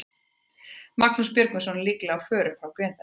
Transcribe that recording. Magnús Björgvinsson er líklega á förum frá Grindavík.